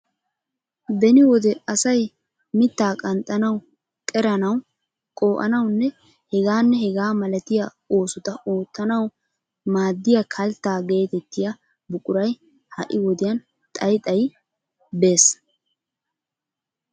Beni wode asay mitta qanxxanawu qeranawu qoo"anawunne hegaanne hegaa malatiya oosota oottanawu maaddiya kalttaa geetettiya buquray ha'i wodiyan xayi xayi bees.